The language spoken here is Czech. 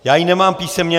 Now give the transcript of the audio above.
Já ji nemám písemně.